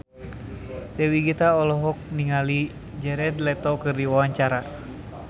Dewi Gita olohok ningali Jared Leto keur diwawancara